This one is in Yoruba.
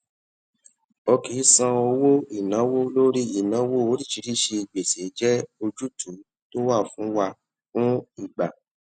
o kì í san owó ìnáwó lórí ìnáwó oríṣiríṣi gbèsè jé ojútùú tó wà fún wà fún ìgbà